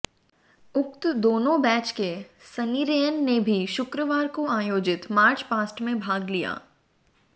उक्त दोनों बैच के सनेरियन ने भी शुक्रवार को आयोजित मार्चपास्ट में भाग लिया